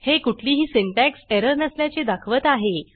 हे कुठलीही syntax error नसल्याचे दाखवत आहे